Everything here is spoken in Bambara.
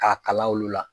K'a kalan olu la